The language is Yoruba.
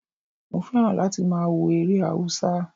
Mo fẹ́ràn láti máa wo eré Haúsá